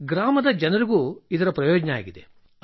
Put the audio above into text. ಗ್ರಾಮದ ಜನರಿಗೂ ಇದರ ಪ್ರಯೋಜನವಿದೆ